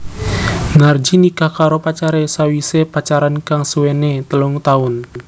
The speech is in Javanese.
Narji nikah karo pacaré sawisé pacaran kang suwené telung taun